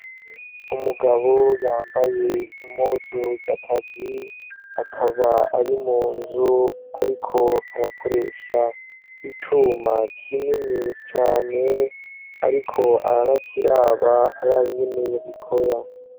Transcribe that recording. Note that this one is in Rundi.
Umugabo yambaye impuzu z'akazi, akaba ari mu nzu ariko arakoresha icuma kinini cane, ariko aranakiraba araba ingene bikora.